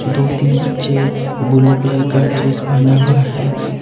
दो- तीन बच्चे ब्लू कलर का ड्रेस पहने हुए है?